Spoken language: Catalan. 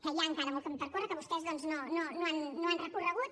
que hi ha encara molt camí per córrer que vostès doncs no han recorregut